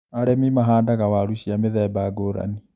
Arĩmi mahandaga waru cia mĩthemba ngũrani.